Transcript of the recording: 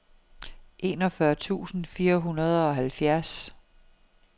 enogfyrre tusind fire hundrede og halvfjerds